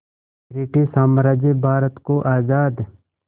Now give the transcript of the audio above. British साम्राज्य भारत को आज़ाद